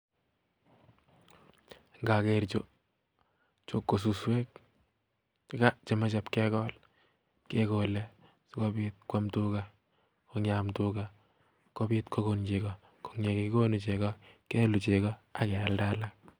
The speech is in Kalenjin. Indokeer Chu ko suswek chemoche ipkegol sikobiit kuam tugaa, ak yeam tugaa kokoon chekoo ak ye kokokoon chegoo keluu ak leader kobit chepkondok